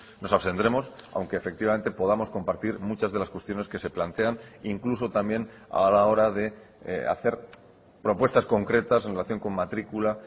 nos abstendremos aunque efectivamente podamos compartir muchas de las cuestiones que se plantean incluso también a la hora de hacer propuestas concretas en relación con matrícula